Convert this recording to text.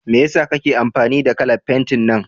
Mai yasa kake amfani da kalan fentin nan?